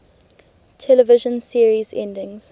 television series endings